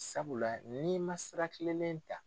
Sabula n'i man sira kilelenn ta.